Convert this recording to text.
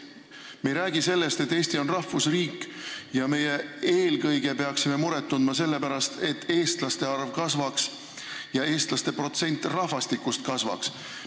Me ei räägi sellest, et Eesti on rahvusriik ja me peaksime muret tundma eelkõige sellepärast, et eestlaste arv kasvaks ja eestlaste protsent rahvastikus kasvaks.